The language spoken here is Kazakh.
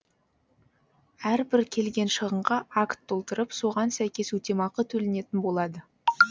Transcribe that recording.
әрбір келген шығынға акт толтырып соған сәйкес өтемақы төленетін болады